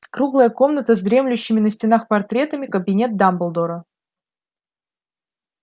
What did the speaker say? круглая комната с дремлющими на стенах портретами кабинет дамблдора